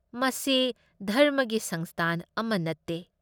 ꯃꯁꯤ ꯙꯔꯝꯃꯒꯤ ꯁꯪꯁꯊꯥꯟ ꯑꯃ ꯅꯠꯇꯦ ꯫